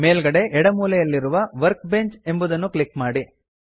ಮೇಲ್ಗಡೆ ಎಡ ಮೂಲೆಯಲ್ಲಿರುವ ವರ್ಕ್ಬೆಂಚ್ ಎಂಬುದನ್ನು ಕ್ಲಿಕ್ ಮಾಡಿ